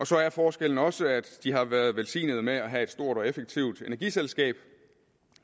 så er forskellen også at de har været velsignet med at have et stort og effektivt energiselskab